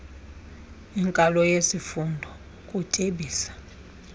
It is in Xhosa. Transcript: inkalo yesifundo ukutyebisa